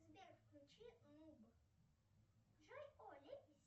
сбер включи нуб